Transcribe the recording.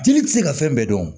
Jeli tɛ se ka fɛn bɛɛ dɔn